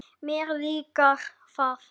Mér líkar það.